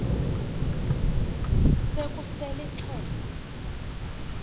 se kusel ixheg